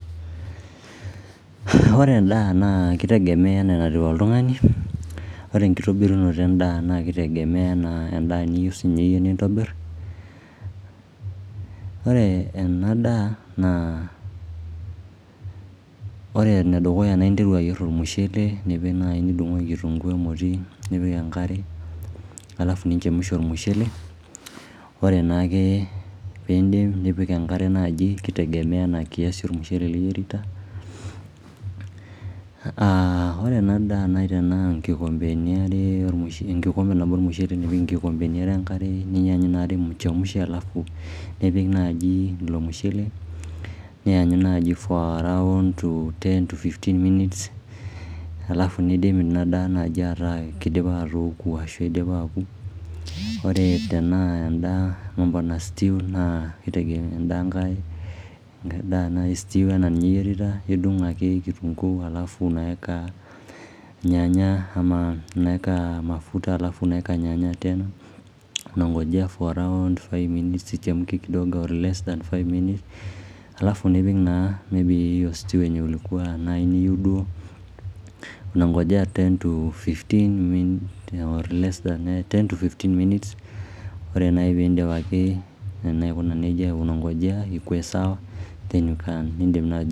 Ore en'daa naa kitegemea enaa enatiu oltungani Ore enkitobirunoto endaa naa kitegemea enaa en'daa niyieu siiniye iyie nitobir Ore ena daa naa interu ayier olmushele naa ing'as adung' kitunguu nipik enkare alafu ninchemusha olmushele Ore naake piidip nipik enkare naaji kutegemea ena kiasi olmushele liyierita aa ore ena daa nai tenaa inkikombeni are nipik enkikombe nabo olmushele nipik inkikombeni enkare niyanyu inaare michemsha nipik naaji ilo mushele niyanyu for around 10-15mins alafu nidip ina daa naai ataa keidipa atooku ashu aa keidipa aaku ore tenaa en'daa mambo na stew naa kitegemea Nidung ake [cs?]kitunguu slafu unaeka nyanya alafu unaeka mafuta alafu unaeka nyanya ichemke kidogo for less than 5 mins alafu nipik naa ina stew niyieu duo niyanyu ildaikani 10-15 Ore piidip aikuna neija niyanyu peeku sawa